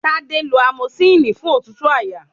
Tádé lọ amosilínì fún òtútù àyà.